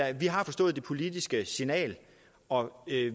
at de har forstået det politiske signal og